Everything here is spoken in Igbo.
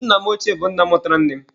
Nna m ọchie bụ nna mụtara nne m.